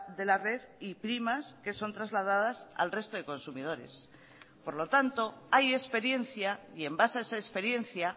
de la red y primas que son trasladadas al resto de consumidores por lo tanto hay experiencia y en base a esa experiencia